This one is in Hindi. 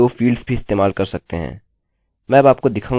आप ढूँढने के लिए 2 फील्ड्स भी इस्तेमाल कर सकते हैं